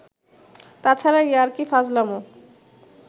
তাছাড়া ইয়ার্কি-ফাজলামো